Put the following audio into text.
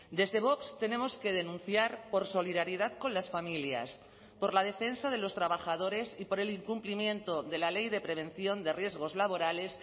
desde vox tenemos que denunciar por solidaridad con las familias por la defensa de los trabajadores y por el incumplimiento de la ley de prevención de riesgos laborales